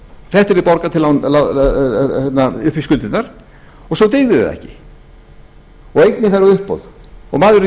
þetta yrði borgað upp í skuldirnar og svo gengur það ekki og eignin fer á uppboð og maðurinn